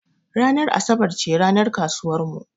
Ranar asabar ce ranar kasuwar mu.